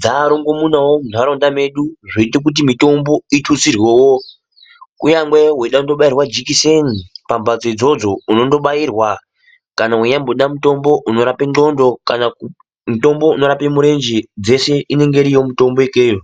dzarongomunawo mundaraunda medu zvoita kuti mutombo ututsirwewo unyangwe weida kundobairwa jekiseni pambatso idzodzo unondobairwa kana weinyamboda mutombo unorapa ngondlo kana mutombo unorapa murenje dzese inenge iriyo ikweyo.